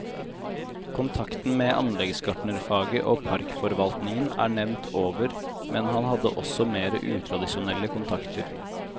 Kontakten med anleggsgartnerfaget og parkforvaltningen er nevnt over, men han hadde også mer utradisjonelle kontakter.